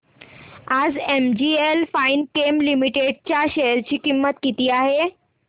आज NGL Finechem limited च्या share ची किंमत किती आहे